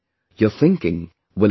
Your thinking will expand